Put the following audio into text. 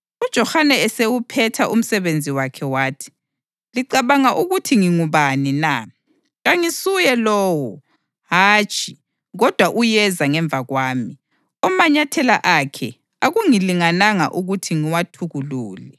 UJohane esewuphetha umsebenzi wakhe wathi, ‘Licabanga ukuthi ngingubani na? Kangisuye lowo. Hatshi, kodwa uyeza ngemva kwami, omanyathela akhe akungilingananga ukuthi ngiwathukulule.’